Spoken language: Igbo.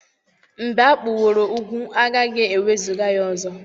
mb͕e akpuworo ugwu agaghi-ewezuga ya ọzọ